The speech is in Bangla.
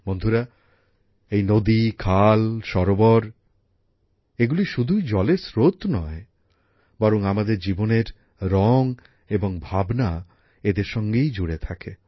বন্ধুরা এই নদী খাল সরোবর এগুলি শুধুই জলের স্রোত নয় বরং আমাদের জীবনের রং এবং ভাবনা এদের সঙ্গেই জুড়ে থাকে